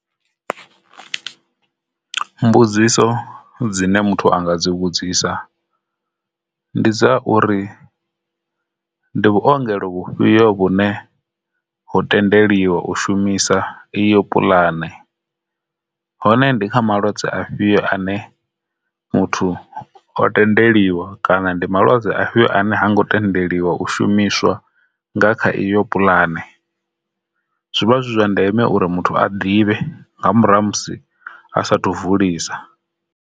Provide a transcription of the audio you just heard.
Mbudziso dzine muthu anga dzi vhudzisa ndi dza uri ndi vhuongelo vhufhio vhune ho tendeliwa u shumisa iyo puḽane, hone ndi kha malwadze afhio ane muthu o tendeliwa kana ndi malwadze afhio ane ha ngo tendeliwa u shumiswa nga kha iyo pulane. Zwivha zwi zwa ndeme uri muthu a ḓivhe nga murahu ha musi asathu vulisa.